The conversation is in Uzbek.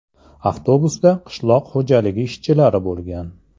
Avtobusda qishloq xo‘jaligi ishchilari bo‘lgan.